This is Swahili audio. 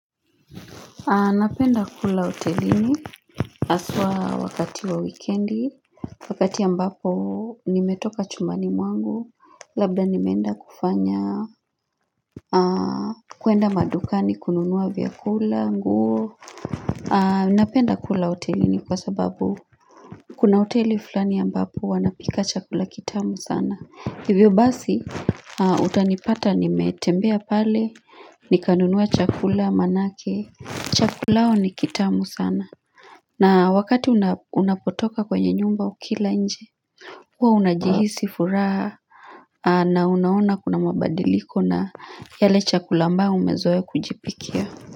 Napenda kula hotelini haswa wakati wa wikendi, wakati ambapo nimetoka chumbani mwangu, labda nimeenda kufanya kuenda madukani kununua vyakula, nguo. Napenda kula hotelini kwa sababu kuna hoteli fulani ambapo wanapika chakula kitamu sana. Hivyo basi utanipata nimetembea pale nikanunua chakula maanake chakula yao ni kitamu sana na wakati unapotoka kwenye nyumba ukila nje huwa unajihisi furaha na unaona kuna mabadiliko na yale chakula ambayo umezoea kujipikia.